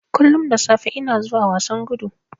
Kullun da safe ina zuwa wasan gudu.